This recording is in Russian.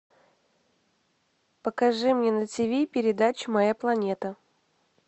покажи мне на тв передачу моя планета